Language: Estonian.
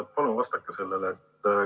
Palun vastake sellele.